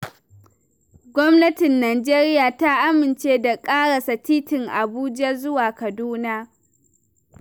Gwamnatin Najeriya ta amince da ƙarasa titin Abuja zuwa Kaduna.